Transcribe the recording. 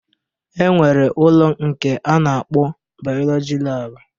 E nwere ụlọ nke a na-akpọ bayọlọji laabụ